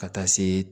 Ka taa se